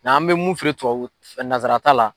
Ng'an bɛ mun feere tubabu nanzara ta la